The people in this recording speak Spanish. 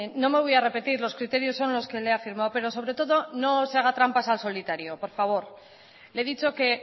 no me voy a repetir los criterios son los que le he afirmado pero sobre todo no se haga trampas al solitario por favor le he dicho que